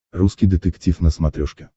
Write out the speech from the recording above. русский детектив на смотрешке